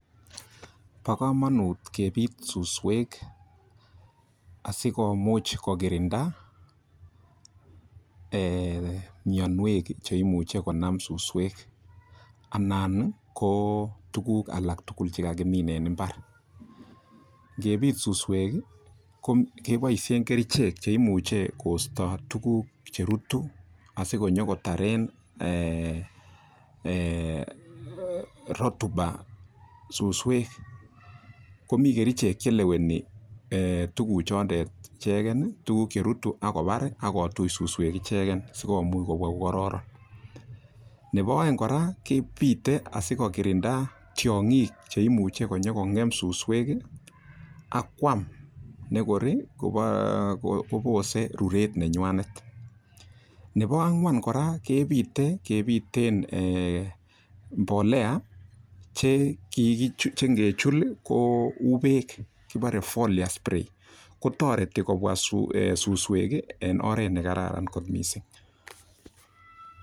Bo komonut kebit suswek, asikomuch kogirinda mianwek che imuche konam suswek anan ko tuguk alak tugul che kagimin en mbar, ngebit suswek keboishen kerichek che imuche kosto tuugk cherutu asikonyokotaren rotuba suswek komi kerichek che leweni tuguchondon ichegen, tuguk che rutu ak kobar ak kotuch suswek icheget sikomuch kowa kokororon. Nebo oeng kora kebite asikokirinda tiong'ik che imuche konyokong'em suswek ak koam nekor kobose ruret nenyanet. Nebo ang'wan kora kebite, kebiten mbolea che ingechul ko uu beek kibore foliar spray toreti kobwa susuwek en oret ne kararan kot mising.